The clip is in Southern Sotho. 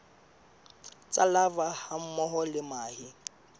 tsa larvae hammoho le mahe